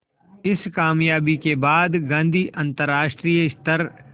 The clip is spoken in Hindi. इस क़ामयाबी के बाद गांधी अंतरराष्ट्रीय स्तर